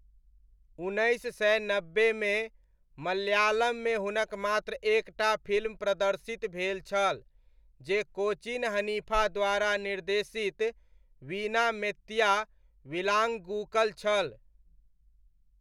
उन्नैस सय नब्बेमे मलयालममे हुनक मात्र एक टा फिल्म प्रदर्शित भेल छल जे कोचीन हनीफा द्वारा निर्देशित वीणा मेत्तिया विलाङ्गुकल छल।